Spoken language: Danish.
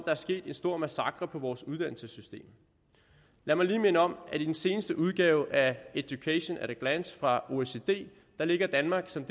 er sket en stor massakre på vores uddannelsessystem lad mig lige minde om at i den seneste udgave af education at a glance fra oecd ligger danmark som